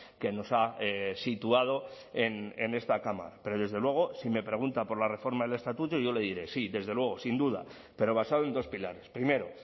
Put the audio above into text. que nos ha situado en esta cámara pero desde luego si me pregunta por la reforma del estatuto yo le diré sí desde luego sin duda pero basado en dos pilares primero